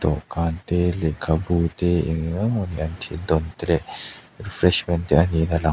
dawhkan te lehkhabu te eng eng emaw nian thil dawn te leh refreshment te a niin a lang.